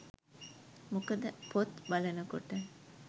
මොකද පොත් බලන කොට